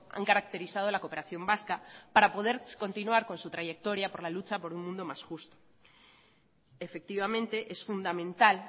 han caracterizado la cooperación vasca para poder continuar con su trayectoria por la lucha por un mundo más justo efectivamente es fundamental